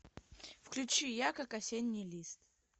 включи я как осенний лист